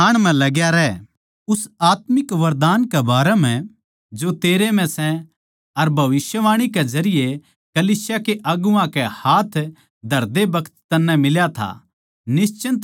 उस आत्मिक वरदान कै बारै म्ह जो तेरै म्ह सै अर भविष्यवाणी कै जरिये कलीसिया के अगुवां के हाथ धरदे बखत तन्नै मिल्या था निश्चिन्त मतना रह